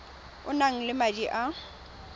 o nang le madi a